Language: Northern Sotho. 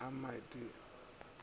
a mant i go ya